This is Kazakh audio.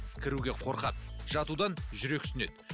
кіруге қорқады жатудан жүрексінеді